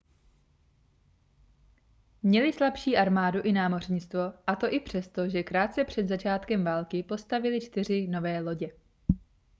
měli slabší armádu i námořnictvo a to i přesto že krátce před začátkem války postavili čtyři nové lodě